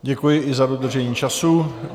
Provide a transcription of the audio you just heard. Děkuji i za dodržení času.